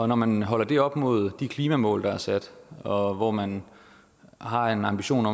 når man holder det op imod de klimamål der er sat og hvor man har en ambition